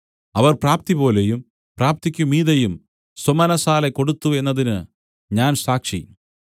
അവർ പ്രാപ്തിപോലെയും പ്രാപ്തിക്കു മീതെയും സ്വമനസ്സാലെ കൊടുത്തു എന്നതിന് ഞാൻ സാക്ഷി